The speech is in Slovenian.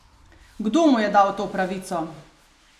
Kdo mu je dal to pravico?